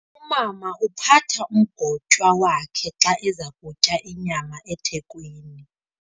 Umama uphatha umgotywa wakhe xa eza kutya inyama ethekweni.